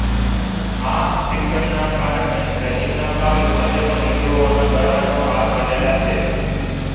આ શિક્ષણને કારણે રહીમના કાવ્યો આજે પણ હિંદુઓના ગળાનો હાર બનેલા છે